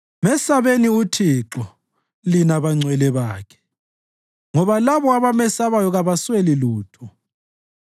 Mesabeni Uthixo, lina bangcwele bakhe, ngoba labo abamesabayo kabasweli lutho.